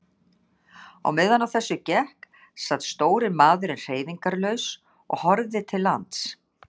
Á meðan á þessu gekk sat stóri maðurinn hreyfingarlaus og horfði til lands.